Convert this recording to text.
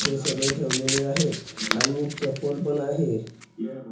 हे सगळे ठेवलेले आहेत आणि चप्पल पण आहे.